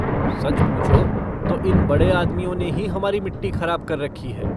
सच पूछो तो इन बड़े आदमियों ने ही हमारी मिट्टी खराब कर रखी है।